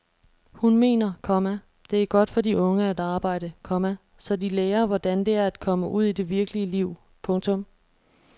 Hun mener, komma det er godt for de unge at arbejde, komma så de lærer hvordan det er at komme ud i det virkelige liv. punktum